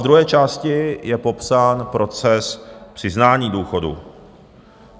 V druhé části je popsán proces přiznání důchodu.